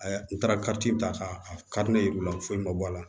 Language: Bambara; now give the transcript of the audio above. A ya n taara kati ta k'a kari ne ye foyi ma bɔ a la